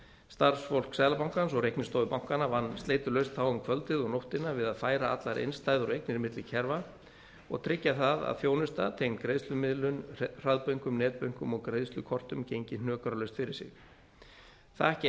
starfsfólk seðlabankans og reiknistofu bankanna vann sleitulaust þá um kvöldið og nóttina við að færa allar innstæður og eignir milli kerfa og tryggja það að þjónusta tengd greiðslumiðlun hraðbönkum netbönkum og greiðslukortum gengi hnökralaust fyrir sig það gekk